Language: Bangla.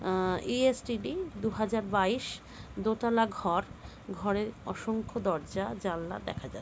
আ ইসটিডি দুহাজার বাইস। দোতলা ঘর ঘরে অসংখ্য দরজা জালনা দেখা যা --